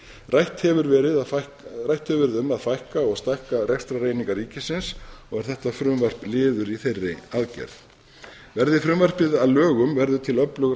rætt hefur verið um að fækka og stækka rekstrareiningar ríkisins er þetta frumvarp liður í þeirri aðgerð verði frumvarpi að lögum verður til öflug